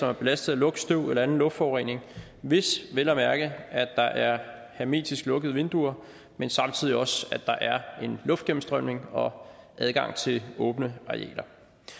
er belastet af lugt støv eller anden luftforurening hvis vel at mærke er hermetisk lukkede vinduer men samtidig også en luftgennemstrømning og adgang til åbne arealer